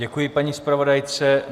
Děkuji paní zpravodajce.